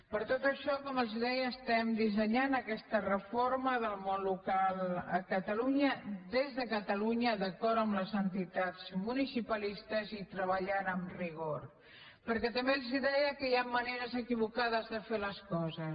per tot això com els deia estem dissenyant aquesta reforma del món local a catalunya des de catalunya d’acord amb les entitats municipalistes i treballant amb rigor perquè també els deia que hi ha maneres equivocades de fer les coses